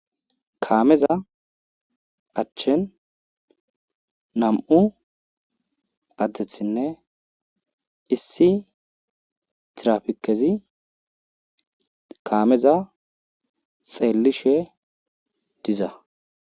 Kaameza achen nam7u addethinne issi tirafikezi kaameza xeellishe diza.